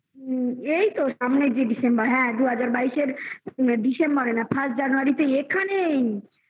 এইতো সামনের যে december হ্যাঁ দু হাজার বাইশের December না first january এখানেই